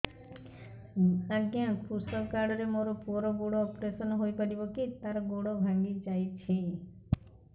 ଅଜ୍ଞା କୃଷକ କାର୍ଡ ରେ ମୋର ପୁଅର ଗୋଡ ଅପେରସନ ହୋଇପାରିବ କି ତାର ଗୋଡ ଭାଙ୍ଗି ଯାଇଛ